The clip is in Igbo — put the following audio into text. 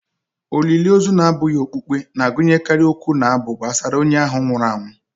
Olili ozu na-abụghị okpukpe na-agụnyekarị okwu na abụ gbasara onye ahụ nwụrụ anwụ